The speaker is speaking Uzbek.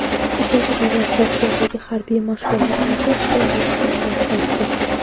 Ikkinchi davlat Rossiyadagi harbiy mashg‘ulotlarda ishtirok etishdan bosh tortdi.